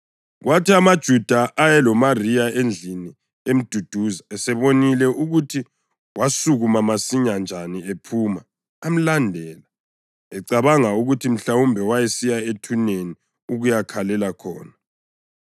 Kwathi amaJuda ayeloMariya endlini emduduza esebonile ukuthi wasukuma masinyane njani ephuma, amlandela ecabanga ukuthi mhlawumbe wayesiya ethuneni ukuyakhalela khona.